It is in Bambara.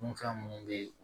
Dunfɛn minnu bɛ